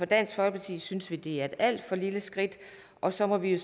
dansk folkeparti synes vi det er et alt for lille skridt og så må vi